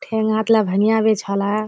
ठेग हाथला भंगिया बिछाला।